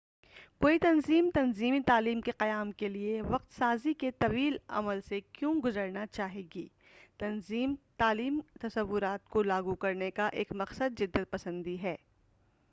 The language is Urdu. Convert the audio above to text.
کوئی تنظیم تنظیمی تعلیم کے قیام کے لئے وقت سازی کے طویل عمل سے کیوں گزرنا چاہے گی تنظیمی تعلیم کے تصورات کو لاگو کرنے کا ایک مقصد جدت پسندی ہے